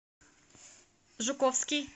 жуковский